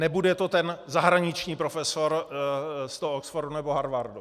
Nebude to ten zahraniční profesor z toho Oxfordu nebo Harvardu.